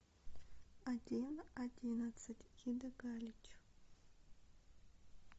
один одиннадцать ида галич